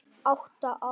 Átta ára.